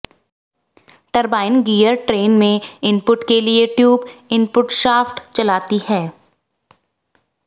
turbine gear train में input के लिए ट्यूब इनपुट शाफ्ट चलाती है